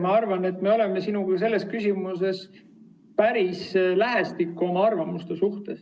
Ma arvan, et me oleme sinuga selles küsimuses oma arvamustega päris lähestikku.